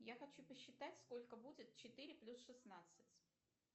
я хочу посчитать сколько будет четыре плюс шестнадцать